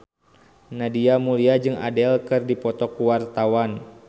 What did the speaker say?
Nadia Mulya jeung Adele keur dipoto ku wartawan